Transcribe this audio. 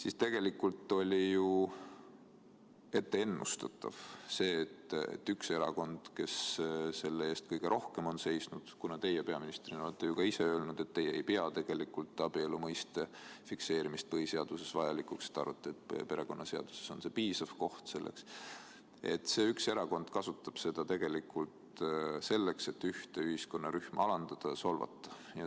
Aga tegelikult oli ju ennustatav, et üks erakond, kes selle eest kõige rohkem on seisnud – teie peaministrina olete ka ise öelnud, et teie ei pea tegelikult abielu mõiste fikseerimist põhiseaduses vajalikuks, te arvate, et perekonnaseadus on selleks piisav koht –, et see üks erakond kasutab seda tegelikult selleks, et ühte ühiskonnarühma alandada ja solvata.